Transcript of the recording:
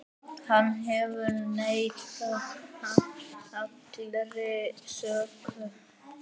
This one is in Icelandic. Hann hefur neitað allri sök.